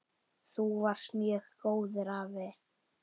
Þú varst mjög góður afi.